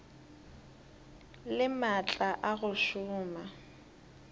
le maatla a go šoma